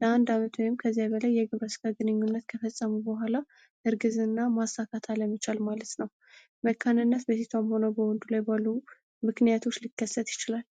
ለ አንድ አመት ወይም ከዚያ በላይ የግብረ ስጋ ግንኙነት ከፈጸሙ በኋላ እርግዝና ማሳካት አለመቻል ማለት ነው። መካንነት በሴቷም ሆነ በወንዱ ላይ ባሉ ምክንያቶች ሊከሰት ይችላል።